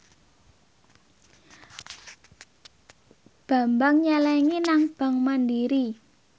Bambang nyelengi nang bank mandiri